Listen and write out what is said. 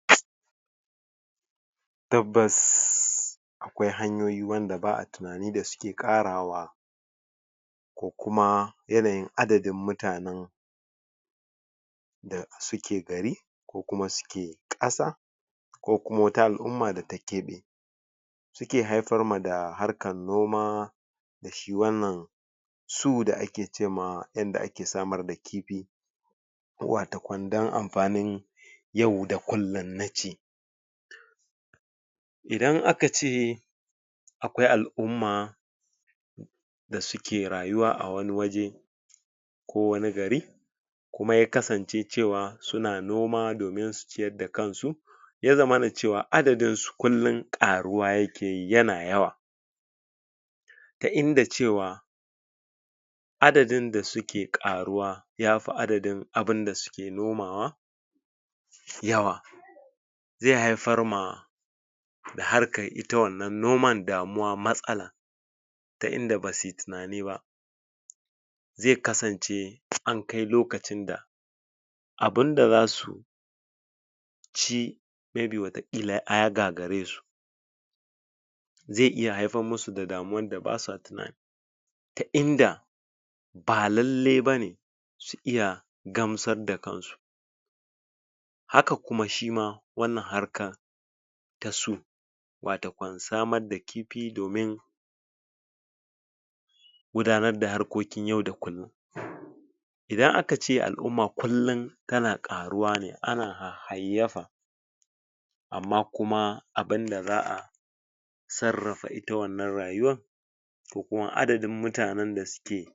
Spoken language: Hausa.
um tabbas akwai hanyoyi wanda ba'a tunani da suke karawa da kuma yanayin adadin mutane da suke gari ko kuma suke kasa ko kuma wata al-umma data kebe suke haifar ma da harkan noma da shi wannan su da ake cemawa yadda ake samar da kifi wato kan dan amfanin yau da kullum na ci idan akace akwai al-umma da suke rayuwa a wani waje ko wani gari kuma yakasan ce cewa suna noma domin su ciyar da kansu ya zamana cewa adaddin su kullum karuwa yakeyi yana yawa ta inda cewa adadin da suke karuwa yafi adadin abun da suke nomawa yawa ze haifarma da harkan ita wannan noman damuwa matsala ta inda basuyi tunani ba ze kasance ankai lokacin da abunda zasu ci daya game da illa daya gagaresu ze iya haifar musu da damuwar da basa tunani ta inda ba lalle bane su iya gamsar da kansu haka kuma shima wannan harkar da su watokan samar da kifi domin gudanar da harkokin yau da kullum idan aka ce al-umma kullum tana karuwa ne ana hayayyafa amma kuma abun da za'a sarrafa ita wannan rayuwa da kuma adadin mutanen da suke